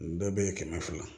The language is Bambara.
Nin bɛɛ bɛ ye kɛmɛ fila